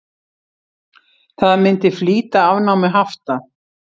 Það myndi flýta afnámi hafta.